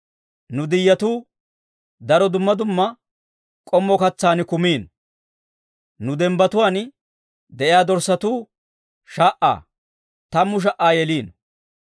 Nu diyyetuu, daro dumma dumma k'ommo katsaan kumino; nu dembbatuwaan de'iyaa dorssatuu sha"aa, tammu sha"aa yelino.